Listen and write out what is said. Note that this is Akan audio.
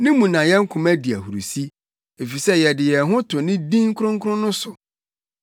Ne mu na yɛn koma di ahurusi, efisɛ yɛde yɛn ho to ne din kronkron no so.